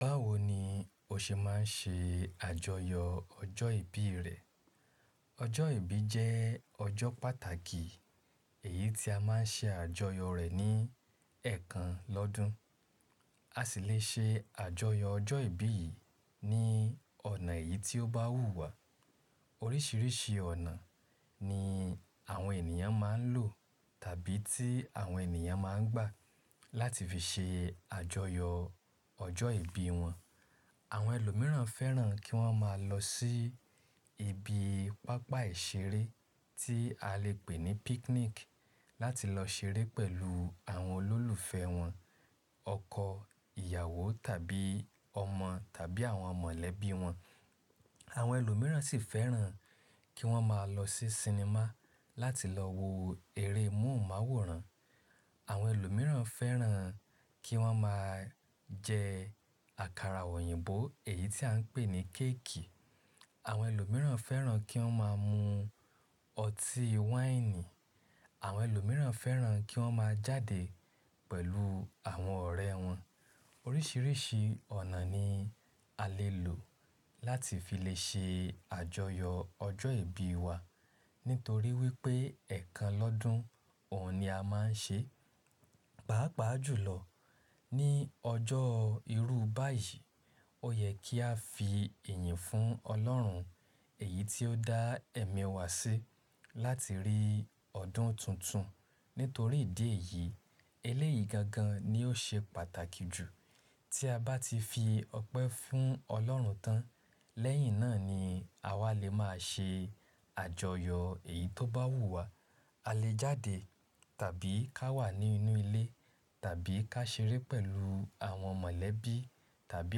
Báwo ni o ṣe máa ń ṣe àjọyọ̀ ọjọ́ ìbí rẹ? Ọjọ́ ìbí jẹ́ ọjọ́ pàtàkì èyí tí a máa ń ṣe àjọyọ̀ rẹ̀ ní ẹ̀ kan lọ́dun. A sì lè ṣe àjọyọ̀ ọjọ́ ìbí yìí ní ọ̀nà èyí tí ó bá wù wá. Oríṣiríṣi ọ̀nà ní àwọn ènìyàn máa ń lò tàbí tí àwọn ènìyàn máa ń gbà láti fi ṣe àjọyọ̀ ọjọ́ ìbí wọn. Àwọn ẹlòmíràn fẹ́ràn kí wọ́n máa lọ sí ibi pápá ìṣeré tí a lè pè ní picnic láti lọ ṣeré pẹ̀lú àwọn olólùfẹ́ wọn, ọkọ, ìyàwó tàbí ọmọ tàbí àwọn mọ̀lẹ́bí wọn. Àwọn ẹlòmíràn sì fẹ́ràn kí wọ́n máa lọ sí sinimá láti lọ wo eré mohunmawòrán. Àwọn ẹlòmíràn fẹ́ràn kí wọ́n máa jẹ àkàrà òyìnbó èyí tí à ń pè ní kéèkì. Àwọn ẹlòmíràn fẹ́ràn kí wọ́n máa mu ọtí wáìnì. Àwọn ẹlòmíràn fẹ́ràn kí wọ́n máa jáde pẹ̀lú àwọn ọ̀rẹ́ wọn. Oríṣiríṣi ọ̀nà ni a lè lò láti fi lè ṣe àjọyọ̀ ọjọ́ ìbí wa. Nítorí wípé ẹ̀ kan lọ́dun, òun ni a máa ń ṣe. Pàápàá jùlọ ní ọjọ́ irú báyìí, ó yẹ kí a fi ìyìn fún Ọlọ́run èyí tí ó dá ẹ̀mí wa sí láti rí ọdún tuntun. Nítorí ìdí èyí, eléyìí gangan ni ó ṣe pàtàkì jù. Tí a bá ti fi ọpẹ́ fún Ọlọ́run tán, lẹ́yìn náà ni àwa lè máa ṣe àjọyọ̀ èyí tó bá wù wá. A lè jáde tàbí ká wà nínú ilé tàbí ká ṣeré pẹ̀lú àwọn mọ̀lẹ́bí tàbí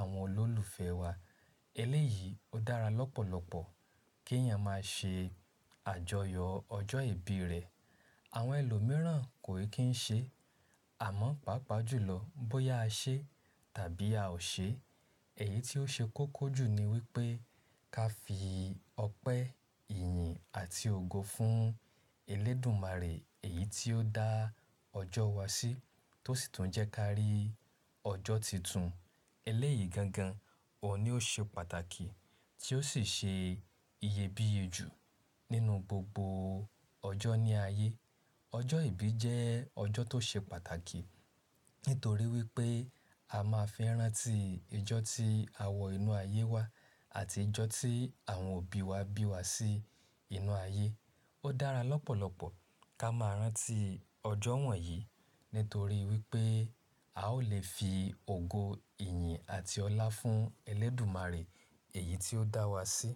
àwọn olólùfẹ́ wa. Eléyìí ó dára lọ́pọ̀lọpọ̀ kí èèyàn máa ṣe àjọyọ̀ ọjọ́ ìbí rẹ̀. Àwọn ẹlòmíràn kò kí ń ṣe, àmọ́ pàápàá jùlọ bóyá a ṣe tàbí a ò ṣe, èyí tí ó ṣe kókó jù ni wípé ká fi ọpẹ́, ìyìn àti ògo fún Elédùmarè èyí tí ó dá ọjọ́ wa sí tó sì tún jẹ́ ká rí ọjọ́ tuntun. Eléyìí gangan, òun ni ó ṣe pàtàkì tí ó sì ṣe iyebíye jù nínú gbogbo ọjọ́ ní ayé. Ọjọ́ ìbí jẹ́ ọjọ́ tó ṣe pàtàkì. Nítorí wípé a máa fẹ́ rántí ijó tí a wọ inú ayé wá àti ijó tí àwọn òbí wa bí wa sí inú ayé. Ó dára lọ́pọ̀lọpọ̀ ká máa rántí ọjọ́ wọ̀nyí nítorí wípé a ó lè fi ògo, ìyìn àti ọlá fún Elédùmarè èyí tí ó dá wa sí.